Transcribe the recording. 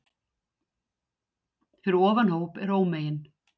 Fyrir ofan hóp er ómegin